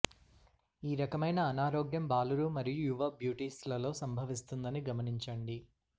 ఈ రకమైన అనారోగ్యం బాలురు మరియు యువ బ్యూటీస్లలో సంభవిస్తుందని గమనించండి